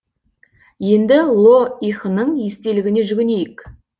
енді ло ихының естелігіне жүгінейік